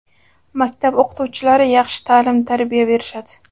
Maktab o‘qituvchilari yaxshi ta’lim-tarbiya berishadi.